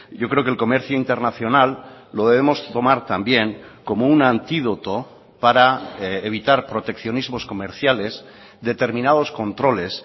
yo creo que el comercio internacional lo debemos tomar también como un antídoto para evitar proteccionismos comerciales determinados controles